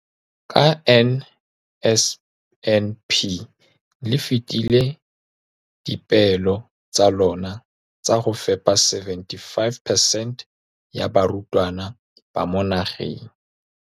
Ka NSNP le fetile dipeelo tsa lona tsa go fepa masome a supa le botlhano a diperesente ya barutwana ba mo nageng.